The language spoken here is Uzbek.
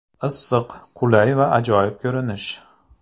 Issiq, qulay va ajoyib ko‘rinish.